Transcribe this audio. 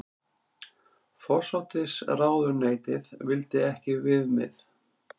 Forsætisráðuneytið vildi ekki viðmið